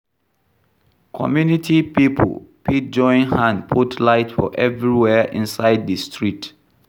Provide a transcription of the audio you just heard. Community pipo fit join hand put light for everywhere inside di street